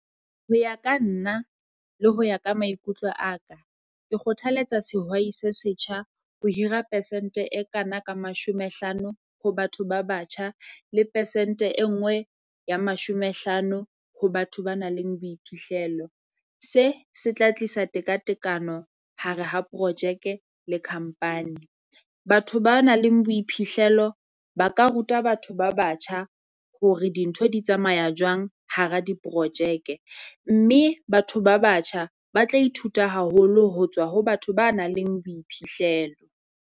Ho ya ka nna, le ho ya ka maikutlo a ka, ke kgothaletsa sehwai se setjha ho hira percent-e e kana ka mashome hlano ho batho ba batjha, le percent-e e nngwe ya mashome hlano ho batho ba nang le boiphihlelo. Se se tla tlisa tekatekano hare ha projeke le company. Batho ba nang le boiphihlelo ba ka ruta batho ba batjha hore dintho di tsamaya jwang hara diprojeke, mme batho ba batjha ba tla ithuta haholo ho tswa ho batho ba nang le boiphihlelo.